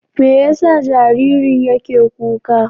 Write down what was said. Me yasa jaririn yake kuka?